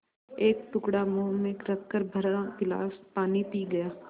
एक टुकड़ा मुँह में रखकर भरा गिलास पानी पी गया